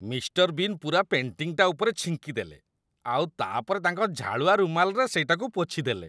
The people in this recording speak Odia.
ମିଷ୍ଟର ବିନ୍ ପୂରା ପେଣ୍ଟିଂଟା ଉପରେ ଛିଙ୍କିଦେଲେ ଆଉ ତା' ପରେ ତାଙ୍କ ଝାଳୁଆ ରୁମାଲରେ ସେଇଟାକୁ ପୋଛିଦେଲେ ।